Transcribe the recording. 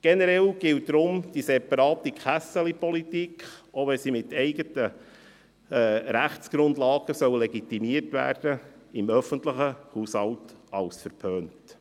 Generell gilt darum die separate «Kässeli-Politik» – auch wenn sie mittels eigener Rechtsgrundlagen legitimiert werden sollen – im öffentlichen Haushalt als verpönt.